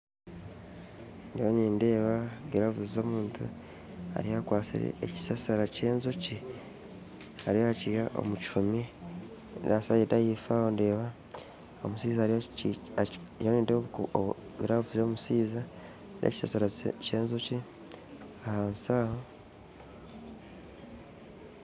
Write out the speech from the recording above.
Ndiyo Nindeeba gilavu z'omuntu ariyo akwasire ekisasara ky'enjoki ariyo nakiha omukihumi nasayidi ahaifo aho ndeeba omushaija ndiyo nindeeba obugiravu bw'omushaija nekisasara ky'enjooki ahansi aho